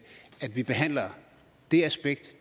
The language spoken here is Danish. vi behandler det aspekt